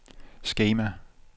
skema